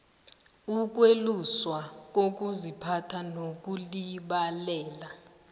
yokweluswa kokuziphatha nokulibalela